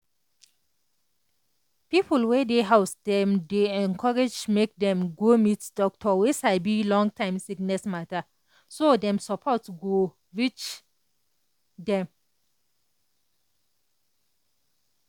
people wey dey house dem dey encourage make dem go meet doctor wey saibi long-time sickness matter so dem support go reach them.